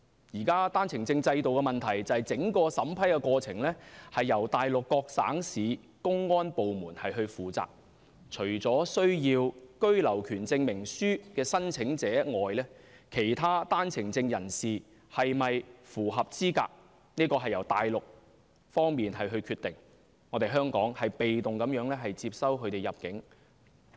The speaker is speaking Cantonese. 現時單程證制度的問題是整個審批過程由內地各省市公安部門負責，除了需要居留權證明書的申請者外，其他單程證人士是否符合資格，是由內地決定，香港被動接收他們入境。